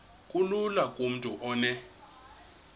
kulula kumntu onen